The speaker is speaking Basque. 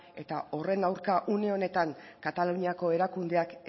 eta horren aurka une honetan kataluniako erakundeak